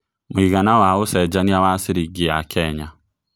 mũigana wa ũcenjanĩa wa ciringi ya Kenya